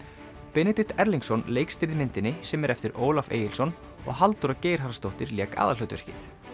Benedikt Erlingsson leikstýrði myndinni sem er eftir Ólaf Egilsson og Halldóra Geirharðsdóttir lék aðalhlutverkið